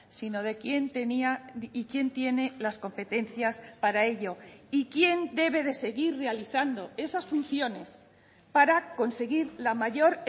sino de quién tenía y quién tiene las competencias para ello y quién debe de seguir realizando esas funciones para conseguir la mayor